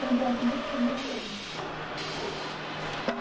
eu encontro o meu primo lá dentro.